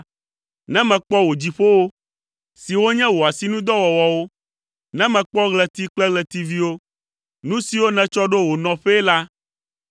Ne mekpɔ wò dziƒowo, siwo nye wò asinudɔwɔwɔwo, ne mekpɔ ɣleti kple ɣletiviwo, nu siwo nètsɔ ɖo wo nɔƒee la,